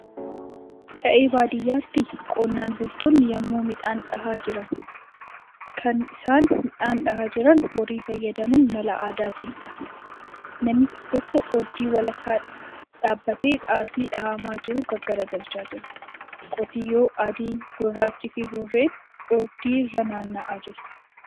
Qe'ee baadiyyaatti qonnaan bultoonni yemmuu midhaan dha'aa jiran. Kan isaan midhaan dha'aa jiran horii fayyadamuun mala aadaatiinidha. Namichi tokko ooddii walakkaa dhaabbatee xaafii dhahamaa jiru gaggaragalchaa jira. Qotiyyoo adii, gurraachi fi burreen ooddii irra naanna'aa jiru.